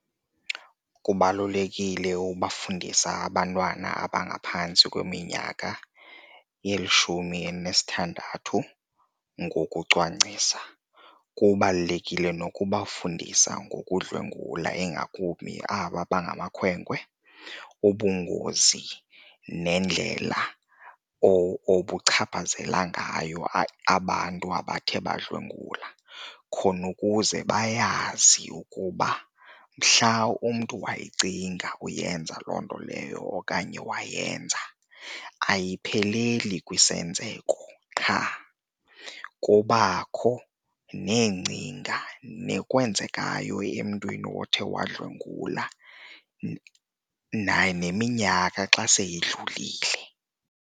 Kubalulekile ukufundisa abantwana abangaphantsi kweminyaka elishumi elinesithandathu ngokucwangcisa. Kubalulekile nokubafundisa ngokudlwengula ingakumbi aba bangamakhwenkwe ubungozi nendlela obuchaphazela ngayo abantu abathe badlwengula khona ukuze bayazi ukuba mhla umntu wayicinga uyenza loo nto leyo okanye wayenza ayipheleli kwisenzeko qha, kubakho neengcinga nokwenzekayo emntwini othi wadlwengula naye neminyaka xa seyidlulile.